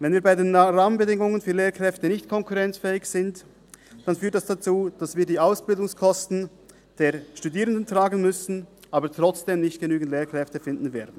Wenn wir bei den Rahmenbedingungen für Lehrkräfte nicht konkurrenzfähig sind, führt dies dazu, dass wir die Ausbildungsklassen der Studierenden tragen müssen, aber trotzdem nicht genügend Lehrkräfte finden werden.